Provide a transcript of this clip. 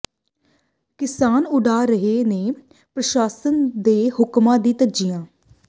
ਕਿਸਾਨ ਉਡਾ ਰਹੇ ਨੇ ਪ੍ਰਸਾਸ਼ਨ ਦੇ ਹੁਕਮਾਂ ਦੀਆਂ ਧੱਜੀਆਂ